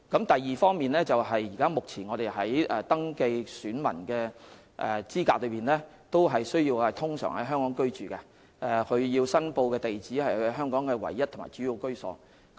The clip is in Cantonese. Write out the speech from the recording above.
第二，目前要符合香港登記選民的資格，個別人士須通常在香港居住，而其呈報的住址須是其在香港唯一或主要的居所。